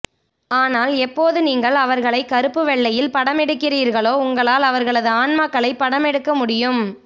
ஆனால் எப்போது நீங்கள் அவர்களை கறுப்பு வெள்ளையில் படமெடுக்கிறீர்களோ உங்களால் அவர்களது ஆன்மாக்களைப் படமெடுக்க முடியும்